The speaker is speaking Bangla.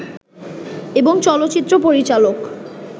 এবং চলচ্চিত্র পরিচালক